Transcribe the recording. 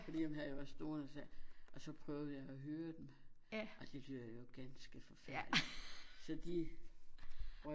Fordi dem havde jeg også stående og så sagde jeg og så prøvede jeg at høre dem og de lyder jo ganske forfærdeligt så de røg